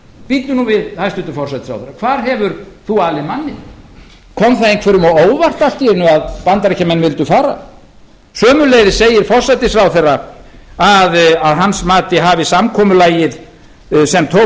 bíddu nú við hæstvirtan forsætisráðherra hvar hefur þú alið manninn kom það einhverjum á óvart allt í einu að bandaríkjamenn vildu fara sömuleiðis segir forsætisráðherra að að hans mati hafi samkomulagið sem tókst